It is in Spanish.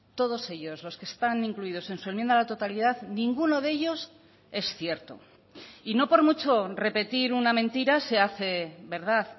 todos ellos los que están incluidos en su enmienda a la totalidad ninguno de ellos es cierto y no por mucho repetir una mentira se hace verdad